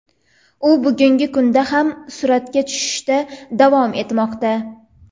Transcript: U bugungi kunda ham suratga tushishda davom etmoqda.